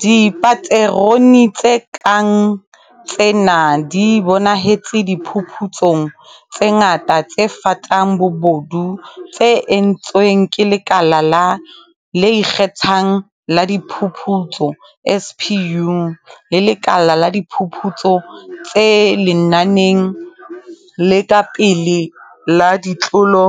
Dipaterone tse kang tsena di bonahetse diphuputsong tse ngata tse fatang bobodu tse entsweng ke Lekala le Ikge thang la Diphuputso, SPU, le Lekala la Diphuputso tse Lenaneng le Ka Pele la Ditlolo